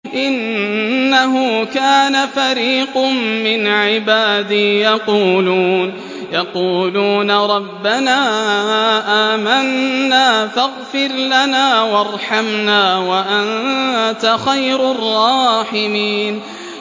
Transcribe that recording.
إِنَّهُ كَانَ فَرِيقٌ مِّنْ عِبَادِي يَقُولُونَ رَبَّنَا آمَنَّا فَاغْفِرْ لَنَا وَارْحَمْنَا وَأَنتَ خَيْرُ الرَّاحِمِينَ